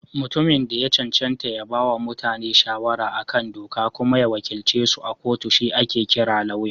Mutumin da ya cancanta ya bawa mutane shawara a kan doka kuma ya wakilcesu a kotu shi ake kira Lauya.